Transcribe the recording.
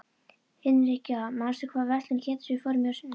Hinrikka, manstu hvað verslunin hét sem við fórum í á sunnudaginn?